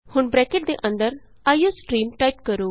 ਹੁਣ ਬਰੈਕਟ ਦੇ ਅੰਦਰ ਆਈਓਸਟ੍ਰੀਮ ਆਈਓਸਟਰੀਮ ਟਾਈਪ ਕਰੋ